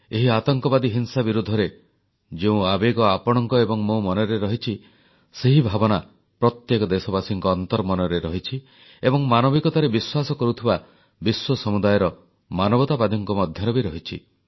ଏହି ଆତଙ୍କବାଦୀ ହିଂସା ବିରୋଧରେ ଯେଉଁ ଆବେଗ ଆପଣଙ୍କ ଏବଂ ମୋ ମନରେ ରହିଛି ସେହି ଭାବନା ପ୍ରତ୍ୟେକ ଦେଶବାସୀଙ୍କ ଅନ୍ତର୍ମନରେ ରହିଛି ଏବଂ ମାନବିକତାରେ ବିଶ୍ୱାସ କରୁଥିବା ବିଶ୍ୱ ସମୁଦାୟର ମାନବତାବାଦୀଙ୍କ ମଧ୍ୟରେ ବି ରହିଛି